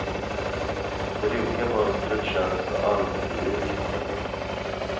Det rutiga mönstret känns allmogelikt, men nytt.